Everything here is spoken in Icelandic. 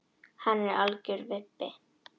Hann er algjör vibbi.